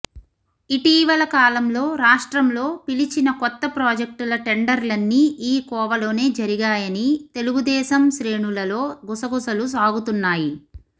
ఇటీవల కాలంలో రాష్ట్రంలో పిలిచిన కొత్త ప్రాజెక్టుల టెండర్లన్నీ ఈ కోవలోనే జరిగాయని తెలుగుదేశం శ్రేణులలో గుసగుసలు సాగుతున్నాయి